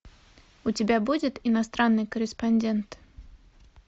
у тебя будет иностранный корреспондент